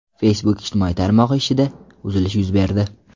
Facebook ijtimoiy tarmog‘i ishida uzilish yuz berdi.